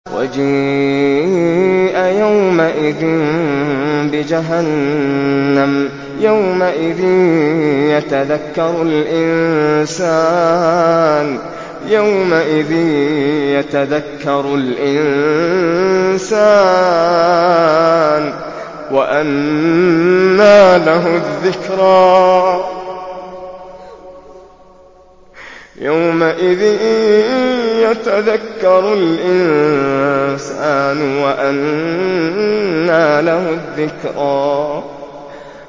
وَجِيءَ يَوْمَئِذٍ بِجَهَنَّمَ ۚ يَوْمَئِذٍ يَتَذَكَّرُ الْإِنسَانُ وَأَنَّىٰ لَهُ الذِّكْرَىٰ